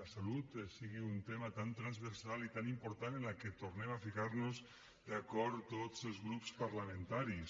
la salut sigui un tema tan transversal i tan important en el qual tornem a ficar nos d’acord tots els grups parlamentaris